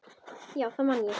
Já, það man ég